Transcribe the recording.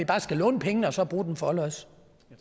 bare skal låne pengene og så bruge dem forlods